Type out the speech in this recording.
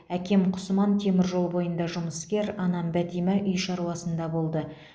әкем құсман темір жол бойында жұмыскер анам бәтима үй шаруасында болды